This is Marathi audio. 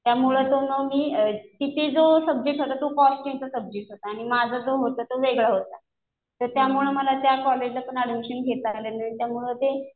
त्यामुळे तर मग मी तिथे जो सब्जेक्ट होता तो कॉस्टिंगचा सब्जेक्ट होता. आणि माझा जो होता तो वेगळा होता. तर त्यामुळं मला त्या कॉलेजला पण ऍडमिशन घेता आलं नाही. त्यामुळं ते